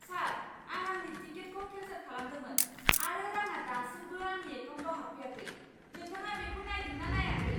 सार! आं आंनि टिकेटखौ केन्सेल खालामदोंमोन आरो रांआ दासिमबो आंनि एकाउन्टाव हाबफैयाखै। नोंथाङा बेखौ नायदों ना नायाखै?